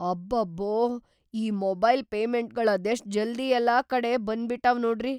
‌ಅಬ್ಬಬ್ಬೋ! ಈ ಮೊಬೈಲ್ ಪೇಮೆಂಟ್ಗಳ್ ಅದೆಷ್ಟ್‌ ಜಲ್ದಿ ಯೆಲ್ಲಾ ಕಡೆ ಬಂದ್ಬಿಟಾವ್ ನೋಡ್ರಿ.